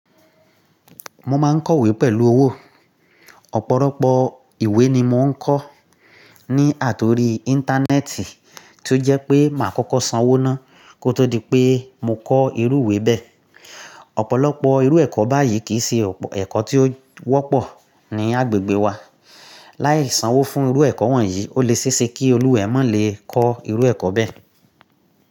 Mo máa ń kọ̀wé pẹ̀lú owó. Ọ̀pọ̀lọpọ̀ ìwé ni mò ń kọ́ ní àtòrí Íńtánẹ́ẹ̀tì tí ó jẹ́ pé màá kọ́kọ́ sanwó ná, kó tó di pé mo kọ́ irú ìwé bẹ́ẹ̀. Ọ̀pọ̀lọpọ̀ irú ẹ̀kọ́ báyìí kì í ṣe ẹ̀kọ́ tí ó wọ́pọ̀ ní agbègbè wa. Láì sanwó fún irú ẹ̀kọ́ wọ̀nyí, ó lè ṣéṣe kí olúwa e má lè kọ́ irú ẹ̀kọ́ bẹ́ẹ̀